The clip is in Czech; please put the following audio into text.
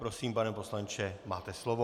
Prosím, pane poslanče, máte slovo.